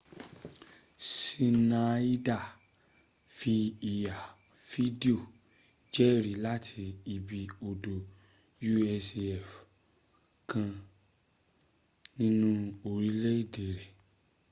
ṣínaida fi ìhá-fídíò jẹ́rí láti ibi ọ̀dọ̀ usaf kan nínú orílèdé rẹ̀